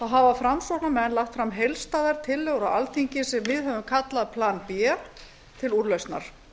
hafa framsóknarmenn lagt fram heildstæðar tillögur á alþingi sem við höfum kallað plan b til úrlausnar